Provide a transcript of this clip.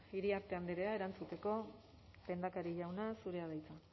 iriarte andrea erantzuteko lehendakari jauna zurea da hitza